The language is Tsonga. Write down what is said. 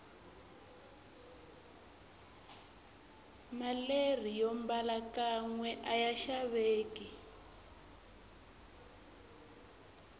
maleri yombala kanwe aya xaveki